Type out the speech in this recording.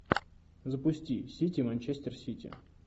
запусти сити манчестер сити